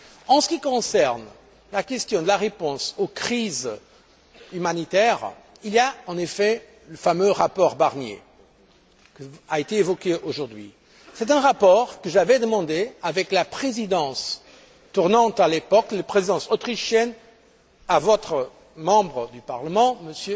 En ce qui concerne la réponse aux questions de la crise humanitaire, il y a en effet le fameux rapport Barnier, qui a été évoqué aujourd'hui. C'est un rapport que j'avais demandé avec la présidence tournante de l'époque, la Présidence autrichienne, à votre membre du Parlement, M.